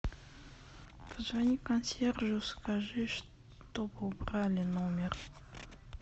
позвони консьержу скажи чтобы убрали номер